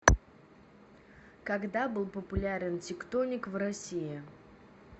когда был популярен тектоник в россии